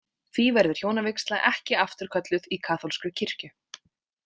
Því verður hjónavígsla ekki afturkölluð í kaþólskri kirkju.